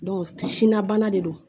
sinna bana de don